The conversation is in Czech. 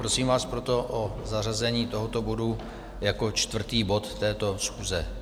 Prosím vás proto o zařazení tohoto bodu jako čtvrtý bod této schůze.